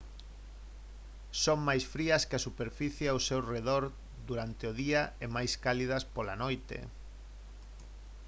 «son máis frías que a superficie ao seu arredor durante o día e máis cálidas pola noite